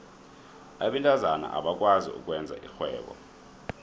abentazana abakwazi ukwenza irhwebo